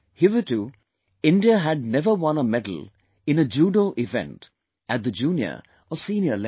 Hitherto, India had never won a medal in a Judo event, at the junior or senior level